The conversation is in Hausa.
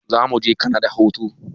Zamuje kanada hutu